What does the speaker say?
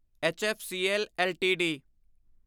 HFCL LTD